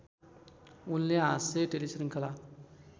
उनले हाँस्य टेलिश्रिङ्खला